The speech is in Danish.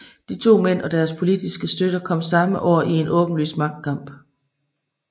De to mænd og deres politiske støtter kom samme år i en åbenlys magtkamp